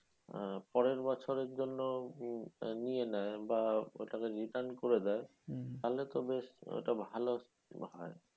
আহ পরের বছরের জন্য উম নিয়ে নেয় বা ওটা return করে দেয় তাহলে তো বেশ ওটা ভালো হয়।